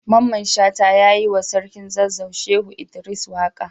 Mamman shata ya yi wa sarkin zazzau Shehu Idris waka.